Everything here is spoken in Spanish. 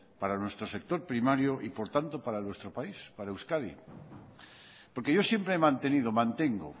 para nuestro sector primario y por lo tanto para nuestro país para euskadi porque yo siempre he mantenido mantengo